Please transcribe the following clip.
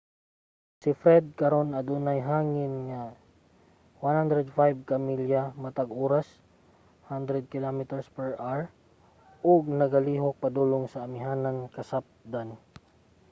si fred karon kay adunay hangin nga 105 ka milya matag oras 165 km/h ug nagalihok padulong sa amihanan-kasapdan